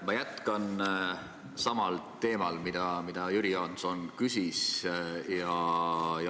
Ma jätkan samal teemal, mille kohta Jüri Jaanson küsis.